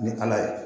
Ni ala ye